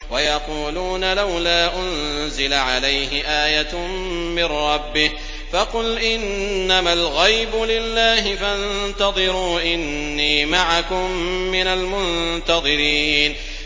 وَيَقُولُونَ لَوْلَا أُنزِلَ عَلَيْهِ آيَةٌ مِّن رَّبِّهِ ۖ فَقُلْ إِنَّمَا الْغَيْبُ لِلَّهِ فَانتَظِرُوا إِنِّي مَعَكُم مِّنَ الْمُنتَظِرِينَ